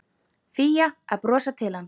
Fía að brosa til hans.